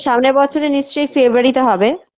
সামনের বছরে নিশ্চয়ই February -তে হবে